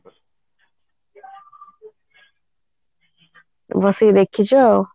ବସିକି ଦେଖିଛ ଆଉ